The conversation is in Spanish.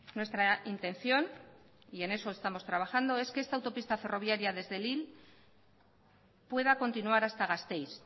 nuestra intención y en eso estamos trabajando es que esta autopista ferroviaria desde lille pueda continuar hasta gasteiz